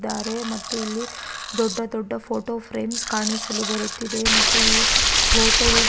ದಾರೆ ಮತ್ತೆ ಇಲ್ಲಿ ದೊಡ್ಡ ದೊಡ್ದ ಫೋಟೋ ಫ್ರೇಮ್ಸ್ ಕಾಣೀಸಲು ಬರುತ್ತಿದೆ ಮತ್ತು ಈ ಹೋಟೆಲ್ --